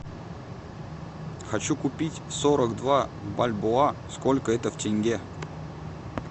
хочу купить сорок два бальбоа сколько это в тенге